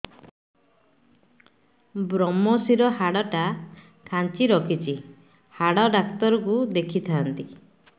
ଵ୍ରମଶିର ହାଡ଼ ଟା ଖାନ୍ଚି ରଖିଛି ହାଡ଼ ଡାକ୍ତର କୁ ଦେଖିଥାନ୍ତି